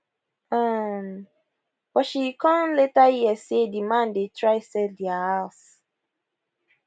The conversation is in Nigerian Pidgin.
um but she come later hear say di man dey try sell dia house